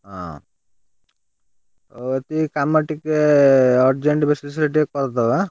ହଁ ଓ ତୁ ଏଇ କାମ ଟିକେ urgent basis ରେ ଟିକେ କରିଦବା।